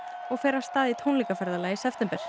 og fer af stað í tónleikaferðalag í september